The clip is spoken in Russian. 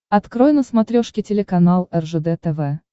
открой на смотрешке телеканал ржд тв